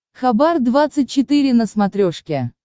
хабар двадцать четыре на смотрешке